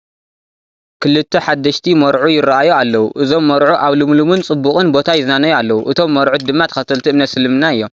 ክልተ ሓደሽቲ መርዑ ይራኣዩ ኣለው፡፡ እዞም መርዑ ኣብ ልምሉምን ፅቡቕን ቦታ ይዝናነዩ ኣለው፡፡ እቶም መርዑት ድማ ተኸተልቲ እምነት አስልምና እዮም፡፡